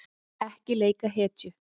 Ekki leika hetju